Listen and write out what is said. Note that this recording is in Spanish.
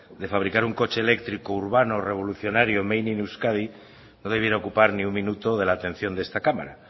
de fabricar un coche eléctrico urbano revolucionario made in euskadi no debiera ocupar ni un minuto de la atención de esta cámara